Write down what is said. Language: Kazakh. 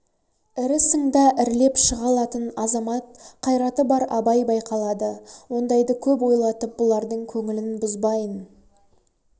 ірі сыңда ірілеп шыға алатын азамат қайраты бар абай байқалады ондайды көп ойлатып бұлардың көңілін бұзбайың